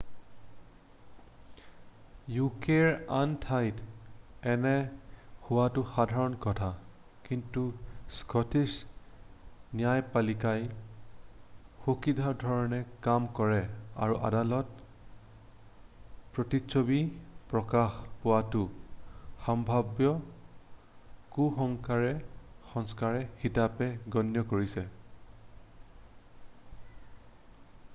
ইউকেৰ আন ঠাইত এনে হোৱাটো সাধাৰণ কথা কিন্তু স্কটিছ ন্যায়পালিকাই সুকীয়াধৰণে কাম কৰে আৰু আদালতে প্ৰতিচ্ছবি প্ৰকাশ পোৱাটো সাম্ভাব্য কুসংস্কাৰ হিচাপে গণ্য কৰিছে